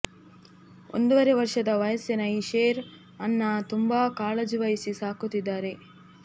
ಒಂದುವರೆ ವರ್ಷದ ವಯಸ್ಸಿನ ಈ ಶೇರ್ ಅನ್ನ ತುಂಬಾ ಕಾಳಜಿ ವಹಿಸಿ ಸಾಕುತಿದ್ದಾರೆ